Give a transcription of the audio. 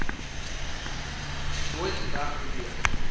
nooit weg beweeg